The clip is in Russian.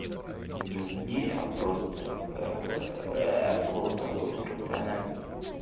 не умнее а просто слова забыл рациональным